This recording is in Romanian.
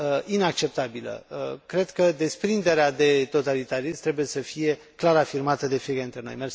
inacceptabilă. Cred că desprinderea de totalitarism trebuie să fie clar afirmată de fiecare dintre noi.